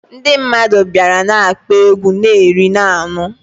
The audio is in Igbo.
Ndi mmadu biara na-akpo egwu, na eri na ańụ